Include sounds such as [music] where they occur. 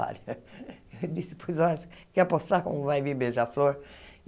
[laughs] Eu disse, pois, [unintelligible] quer apostar como vai vir beija-flor?